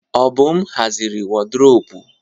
Obum haziri wardrọpụ.